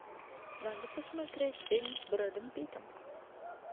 надо посмотреть фильм с брэдом питтом